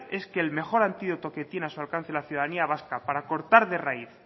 es que el mejor antídoto que tiene la ciudadanía vasca para cortar de raíz